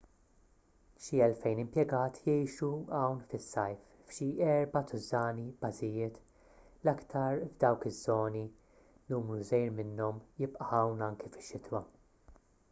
xi elfejn impjegat jgħixu hawn fis-sajf f'xi erba' tużżani bażijiet l-aktar f'dawk iż-żoni numru żgħir minnhom jibqa' hawn anki fix-xitwa